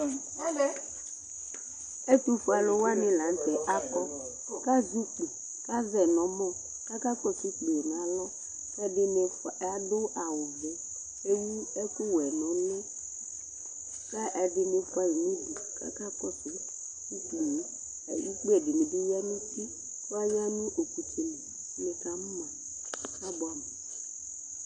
Ɛtuƒuɛ alʋwaŋi la ŋtɛ akɔ kazɛ ʋkpi kazɛ ʋkpiɛ ŋu ɛmɔ Akakɔsu ʋkpiɛ ŋu ɛmɔ kʋ akakɔsu ʋkpiɛ ŋu alɔ Ɛɖìní aɖu awu vɛ kʋ ewu ɛku wɛ ŋu ʋli Ɛɖìní fʋaɣi ŋu ʋɖu kʋ akakɔsu ʋkpiɛ Ʋkpi ɛɖìní bi ɣa ŋu uti Aɣaŋʋ ɔkutsɛli Nikamʋma, abʋamu !